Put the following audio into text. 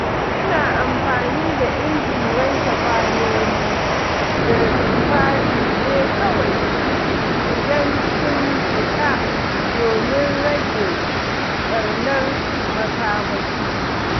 Ina amfani da injin wanke kwanoni da tufafi ne kawai idan sun cika domin rage ɓarnar makamashi.